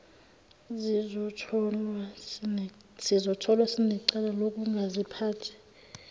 sizotholwa sinecala lokungaziphathi